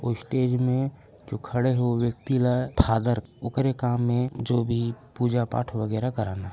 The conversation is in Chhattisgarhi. ओ स्टेज मे जो खड़े हे वो व्यक्ति ल फादर ओकारे काम ए जो भी पूजा पाठ वागेरा कराना हे।